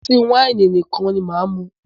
Ọtí wáìnì nìkan ni máà mú.